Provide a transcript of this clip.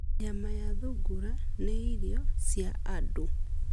Nyama ya thungura nĩ irio cia andũ.